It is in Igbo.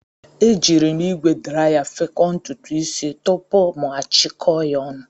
E jiiri m ígwè draya fekọọ ntutu isi tupu m achikọọ ya ọnụ.